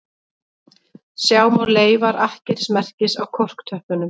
Sjá má leifar akkerismerkis á korktöppunum